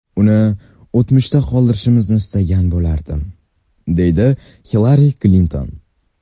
Uni o‘tmishda qoldirishimizni istagan bo‘lardim”, dedi Hillari Klinton.